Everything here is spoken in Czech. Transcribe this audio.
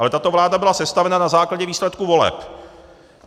Ale tato vláda byla sestavena na základě výsledků voleb.